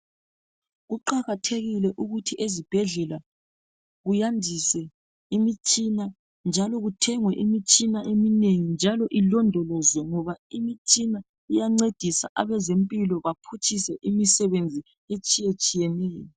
Kuqakathekile ukuthi ezibhedlela kuyandiswe imitshina njalo kuthengwe imitshina eminengi njalo ilondolozwe ngoba imitshina iyancedisa abezempilo baphutshise imisebenzi etshiyetshiyeneyo.